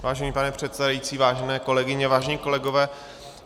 Vážený pane předsedající, vážené kolegyně, vážení kolegové.